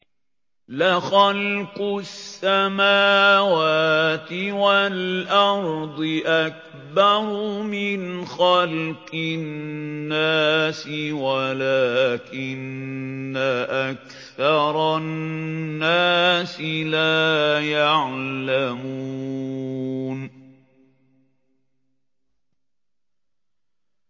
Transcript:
لَخَلْقُ السَّمَاوَاتِ وَالْأَرْضِ أَكْبَرُ مِنْ خَلْقِ النَّاسِ وَلَٰكِنَّ أَكْثَرَ النَّاسِ لَا يَعْلَمُونَ